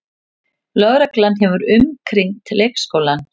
Lögreglan hefur umkringt leikskólann